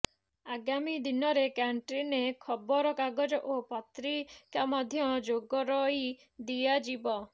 ଆଗାମୀ ଦିନରେ କ୍ୟାଣ୍ଟିନ୍ରେ ଖବର କାଗଜ ଓ ପତ୍ରିକା ମଧ୍ୟ ଯୋଗରଇ ଦିଆଯିବ